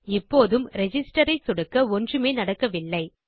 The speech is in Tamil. இப்போதும் ரிஜிஸ்டர் ஐ சொடுக்க ஒன்றுமே நடக்கவில்லை